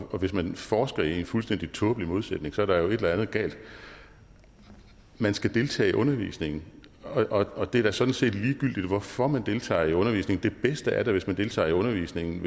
og hvis man forsker i en fuldstændig tåbelig modsætning er der jo et eller andet galt man skal deltage i undervisningen og det er da sådan set ligegyldigt hvorfor man deltager i undervisningen det bedste er da hvis man deltager i undervisningen